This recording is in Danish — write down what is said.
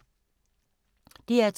DR2